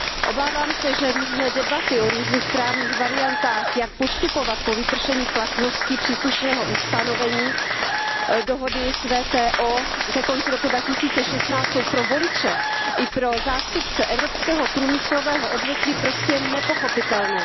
Obávám se, že různé debaty o různých právních variantách, jak postupovat po vypršení platnosti příslušného ustanovení dohody s WTO ke konci roku 2016, jsou pro voliče i pro zástupce evropského průmyslového odvětví prostě nepochopitelné.